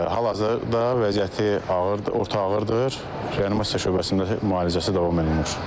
Hal-hazırda vəziyyəti ağırdır, orta ağırdır, reanimasiya şöbəsində müalicəsi davam etdirilir.